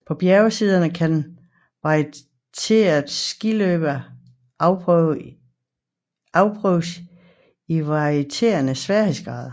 På bjergsiderne kan varieret skiløb afprøves i varierende sværhedsgrad